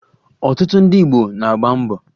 Ọtụtụ ndị Igbo na-agba mbọ